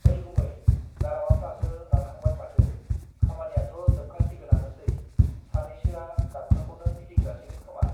ओइ गुमै गारामाफ्रासो रानहांबाय माथो खामानियाथ जोबखागोनानौसे सानैसोवा डाबखाखौननो फिदिं जासिगोन खोमा